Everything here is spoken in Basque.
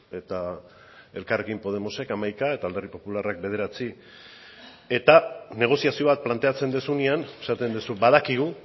eta elkarrekin podemosek hamaika eta alderdi popularrak bederatzi eta negoziazio bat planteatzen duzunean esaten duzu badakigu